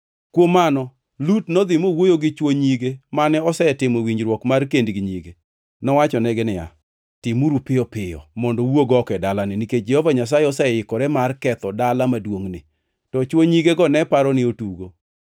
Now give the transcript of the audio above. Kuom mano Lut nodhi mowuoyo gi chwo nyige mane osetimo winjruok mar kend gi nyige. Nowachonegi niya, “Timuru piyo piyo mondo uwuog oko e dalani, nikech Jehova Nyasaye oseikore mar ketho dala maduongʼni!” To chwo nyige ne paro ni otugo.